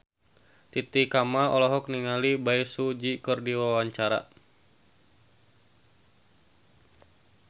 Titi Kamal olohok ningali Bae Su Ji keur diwawancara